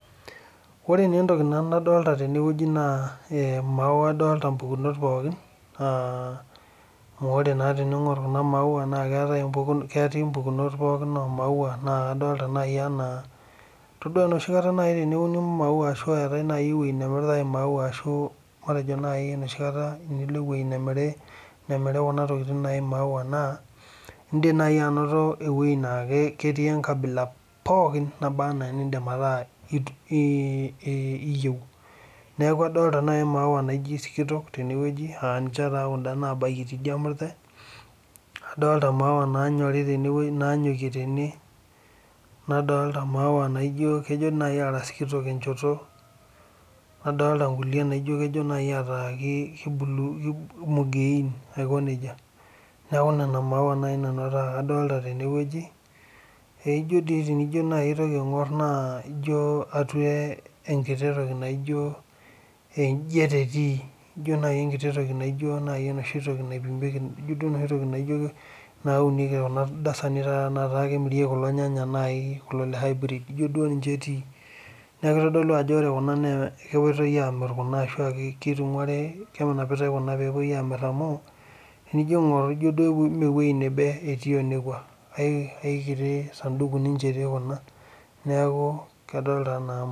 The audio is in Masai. ore na entoki nadolta nanu teneweuji na maua adota ompukunot pookin. aaah amu ore teningor kuna, maua na keti impukunot pooki omaua na kadolta naji ena itodua enoshi kata naji teneuni maua ashu etae, naji eweuji namiritae kuna maua, ashu matejo naji tenilo enoshi weuji namiritae matejo naji tenilo eweuji namiri nemiri kuna tokitin naji imaua ,naa indim naji anoto eweuji na keti enkabila pooki neba ena nitumie,